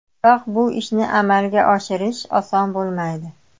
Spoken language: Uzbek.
Biroq bu ishni amalga oshirish oson bo‘lmaydi.